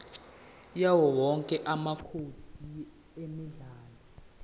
yawowonke amacode emidlalo